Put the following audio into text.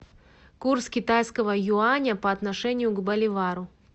курс китайского юаня по отношению к боливару